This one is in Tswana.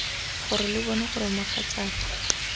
gore lo bone gore mogatsake